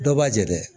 Dɔ b'a jɛ dɛ